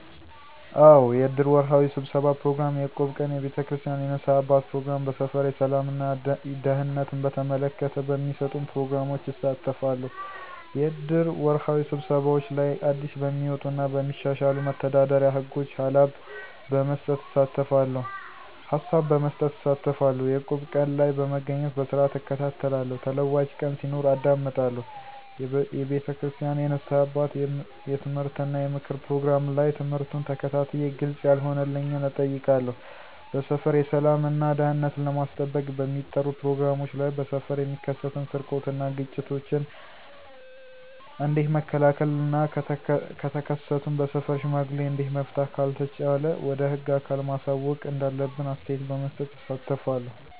አዎ! የእድር ወርሃዊ ስብሠባ ፕሮግራም፣ የእቁብ ቀን፣ የቤተክርስቲያን የንስሐ አባት ፕሮግራም፣ በሠፈር የሠላም እና ደህንነትን በተመለከተ በሚሠጡን ፕሮግራሞች እሳተፋለሁ። -የእድር ወርሃዊ ስብሰባዎች ላይ አዲስበሚወጡ እና በሚሻሻሉ መተዳደሪያ ህጎች ሀላብ በመስጠት እሳተፋለሁ። - የእቁብ ቀን ላይ በመገኘት በስርዓትእከታተላለሁ ተለዋጭ ቀን ሲኖር አዳምጣለሁ። የቤተክርስቲያን የንስሐ አባት የምትምህርት እና የምክር ፕሮግራም ላይ ትምህርቱን ተከታትየ ግልፅ ያለሆነልኝን እጠይቃለሁ። -በሠፈር የሠላም እና ደህንነትን ለማስጠበቅ በሚጠሩ ፕሮግራሞች ላይ በሠፈር የሚከሠትን ስርቆት እና ግጭቶችን ኦንዴት መከላከል እና ከተከሠቱም በሠፈር ሽማግሌ እዴት መፍታት ካልተቻለ ወደ ህግ አካል ማሳወቅ እንዳለብን አስተያየት በመስጠት እሳተፋለሁ።